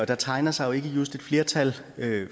der tegner sig jo ikke just et flertal